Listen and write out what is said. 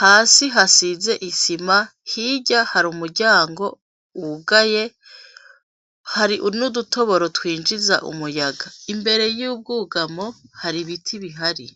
hasi hasize isima hirya hari umuryango wugaye hari unudutoboro twinjiza umuyaza imbere y'ubwugamo hari ibiti bihari.